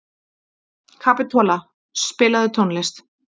Kapitola, spilaðu tónlist.